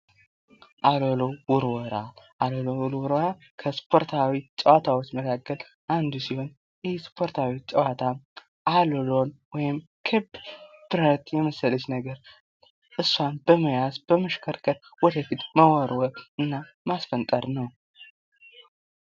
አሎሎ ውርወራ፦ አሎሎ ውርወራ ከስፖርታዊ ጨዋታዎች መካከል አንዱ ሲሆን ይህ ስፖርታዊ ጨዋታ አሎሎን ወይም ክብ የመሰለች ነገር እሷን በመያዝ በመሽከርከር ወደፊት መወርወር እና ማስፈንጠር ነው።